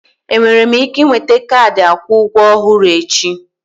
Enwere m ike nweta kaadị akwụ ụgwọ ọhụrụ echi?